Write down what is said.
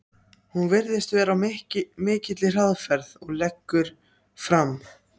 Hún virðist vera á mikilli hraðferð og leggur fram